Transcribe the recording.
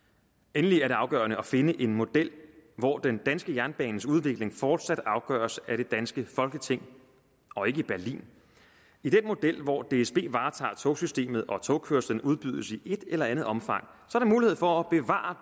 endelig er det afgørende at finde en model hvor den danske jernbanes udvikling fortsat afgøres af det danske folketing og ikke i berlin i den model hvor dsb varetager togsystemet og togkørslen udbydes i et eller andet omfang er der mulighed for at bevare